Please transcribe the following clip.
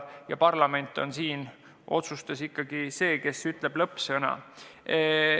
Ent parlament on ikkagi see, kes ütleb lõppsõna.